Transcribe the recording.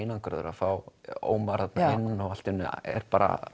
einangraður að fá Ómar þarna inn og allt í einu er